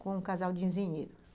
com um casal de engenheiros.